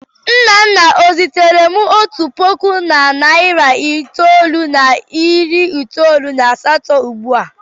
Nnanna e ziteere m otu puku na narị itoolu na iri itoolu na asatọ ugbu a?